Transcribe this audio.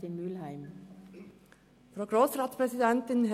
Ich bin im Aufsichtsrat der FKB.